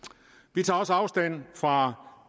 vi tager også afstand fra